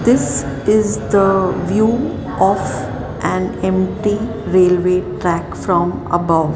this is the view of an empty railway track from above.